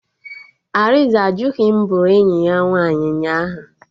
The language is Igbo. Arinze ajụghị m bụrụ enyi ya nwaanyị ụnyaahụ